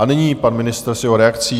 A nyní pan ministr s jeho reakcí.